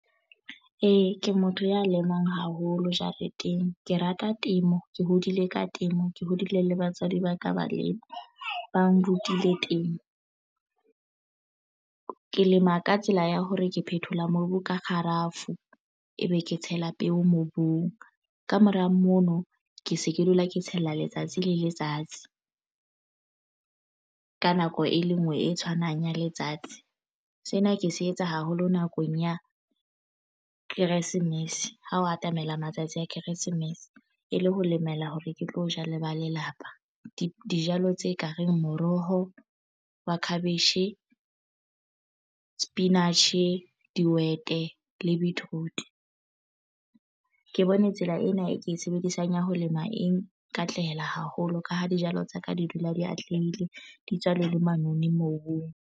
Ee, ke motho ya lemang haholo jareteng. Ke rata temo ke hodile ka temo ke hodile le batswadi ba ka ba le ba nrutile temo. Ke lema ka tsela ya hore ke phethola mobu ka kgarafu ebe ke tshela peo mobung kamora mono ke se ke dula ke tshela letsatsi le letsatsi ka nako e le nngwe e tshwanang ya letsatsi. Sena ke se etsa haholo nakong ya Kresemese ho o atamela matsatsi a Keresemese e le ho lemela hore ke tlo ja le ba lelapa dijalo tse ka reng moroho wa cabbage sepinatjhe, dihwete le beetroot. Ke bone tsela ena e ke e sebedisang ya ho lema eng katlehela haholo ka ha dijalo tsa ka di dula di atlehile di tswa le manoni mobung.